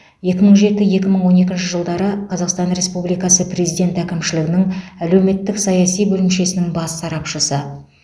екі мың жеті екі мың он екінші жылдары қазақстан республикасы президент әкімшілігінің әлеуметтік саяси бөлімшесінің бас сарапшысы